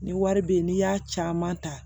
Ni wari bɛ ye n'i y'a caman ta